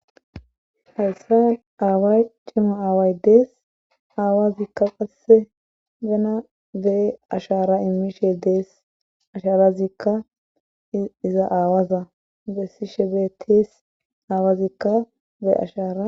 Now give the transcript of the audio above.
Hayssan aaway cimo aaway dees aawaziikka passe gena dee ashara immishe dees asharazikka iza aawaza bessi shebeetis aawazikka bee ashara.